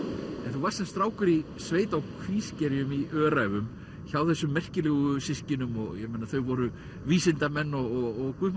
þú varst sem strákur í sveit á Kvískerjum í Öræfum hjá þessum merkilegu systkinum þau voru vísindamenn og Guð